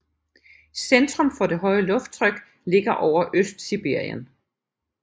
Centrum for det høje lufttryk ligger over Østsibirien